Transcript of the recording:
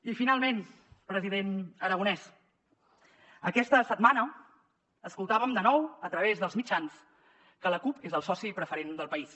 i finalment president aragonès aquesta setmana escoltàvem de nou a través dels mitjans que la cup és el soci preferent del país